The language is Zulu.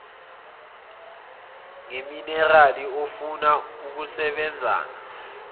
ngeminerali ofuna ukusebenzana